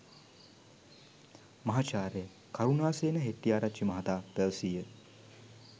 මහාචාර්ය කරුණාසේන හෙටිටිආරචිචි මහතා පැවසීය.